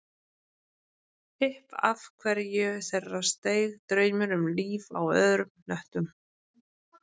Upp af hverju þeirra steig draumur um líf á öðrum hnöttum